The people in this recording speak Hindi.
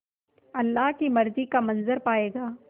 अल्लाह की मर्ज़ी का मंज़र पायेगा